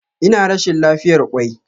Ina rashin lafiyar kwai.